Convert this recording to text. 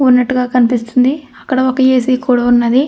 వున్నటు గ కనిపిస్తునది. అక్కడ ఒక ఏ. సి. కూడా ఉన్నది.